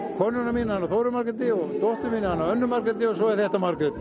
konan mín heitir Þóra Margrét og dóttirin Anna Margrét og svo er þetta Margrét